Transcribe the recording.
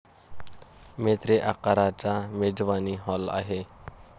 मेत्रे आकाराचा मेजवानी हॉल आहे.